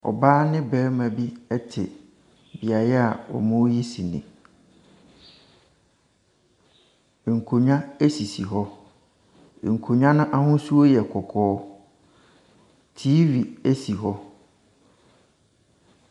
Ɔbaa ne barima bi te beaeɛ a wɔreyi sene. Nkonnwa sisi hɔ. Nksonnwa no ahosu yɛ kɔkɔɔ. TV si hɔ.